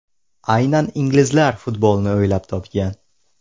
Aynan inglizlar futbolni o‘ylab topgan.